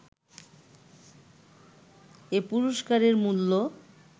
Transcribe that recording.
এ পুরস্কারের মূল্য